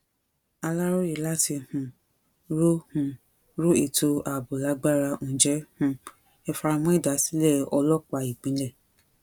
aláròye láti um ró um ró ètò ààbò lágbára ǹjẹ́ um ẹ fara mọ ìdásílẹ ọlọpàá ìpínlẹ